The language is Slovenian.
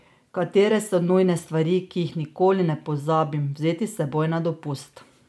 Katere so nujne stvari, ki jih nikoli ne pozabim vzeti s seboj na dopust?